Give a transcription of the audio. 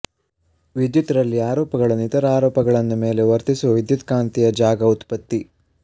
ವಿದ್ಯುತ್ ರಲ್ಲಿ ಆರೋಪಗಳನ್ನು ಇತರ ಆರೋಪಗಳನ್ನು ಮೇಲೆ ವರ್ತಿಸುವ ವಿದ್ಯುತ್ಕಾಂತೀಯ ಜಾಗ ಉತ್ಪತ್ತಿ